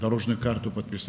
Yol xəritəsini imzaladılar.